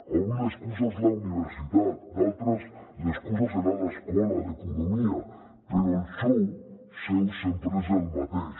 avui l’excusa és la universitat d’altres l’excusa serà l’escola l’economia però el xou seu sempre és el mateix